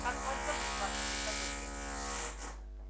как вас зовут ваше преподобие